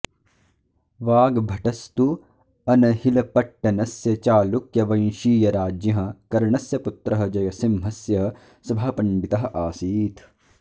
वाग्भटस्तु अनहिलपट्टनस्य चालुक्यवंशीयराज्ञः कर्णस्य पुत्रः जयसिंहस्य सभापण्डितः आसीत्